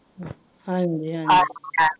ਹਾਂਜੀ ਹਾਂਜੀ